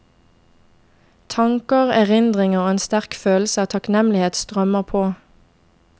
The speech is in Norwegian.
Tanker, erindringer og en sterk følelse av takknemlighet strømmer på.